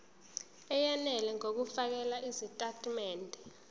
eyenele ngokufakela izitatimende